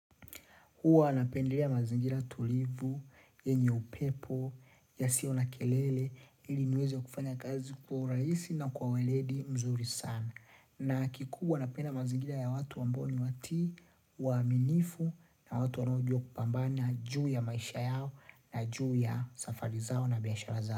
Huwa napendelea mazingira tulivu, yenye upepo, yasiyo na kelele, ili niweze kufanya kazi kwa urahisi na kwa uweledi mzuri sana. Na kikubwa napenda mazingira ya watu ambao ni watii, waaminifu na watu wanaojua kupambana juu ya maisha yao na juu ya safari zao na biashara zao.